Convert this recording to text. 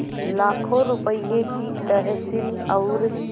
लाखों रुपये की तहसील और